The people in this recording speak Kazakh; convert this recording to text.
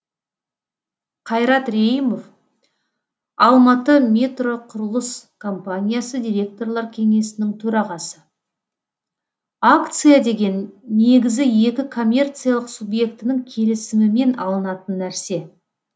қайрат рейімов алматыметроқұрылыс компаниясы директорлар кеңесінің төрағасы акция деген негізі екі коммерциялық субъектінің келісімімен алынатын нәрсе